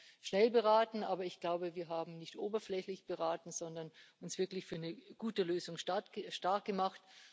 Wir haben schnell beraten, aber ich glaube, wir haben nicht oberflächlich beraten, sondern uns wirklich für eine gute Lösung starkgemacht.